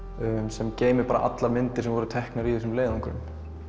sem geymir allar myndir sem voru teknar í þessum leiðöngrum